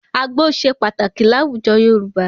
Àgbó ṣe pàtàkì láwùjọ Yorùbá.